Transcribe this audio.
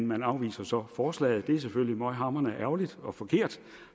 man afviser så forslaget og det er selvfølgelig møghamrende ærgerligt og forkert